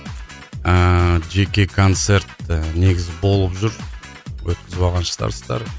ыыы жеке концерт і негізі болып жүр өткізіп алған шығарсыздар